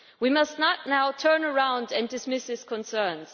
We must not now turn around and dismiss his concerns.